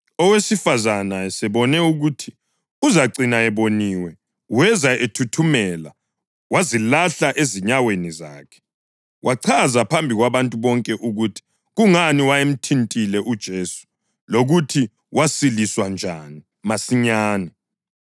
Owesifazane esebone ukuthi uzacina eboniwe weza ethuthumela wazilahla ezinyaweni zakhe. Wachaza phambi kwabantu bonke ukuthi kungani wayemthintile uJesu lokuthi wasiliswa njani masinyane.